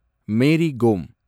Mary Kom